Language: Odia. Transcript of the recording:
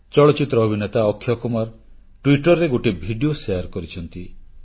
ଚଳଚ୍ଚିତ୍ର ଅଭିନେତା ଅକ୍ଷୟ କୁମାର ଟ୍ୱିଟରରେ ଗୋଟିଏ ଭିଡିଓ ଛାଡିଛନ୍ତି